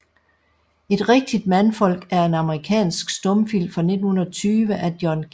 Et rigtigt Mandfolk er en amerikansk stumfilm fra 1920 af John G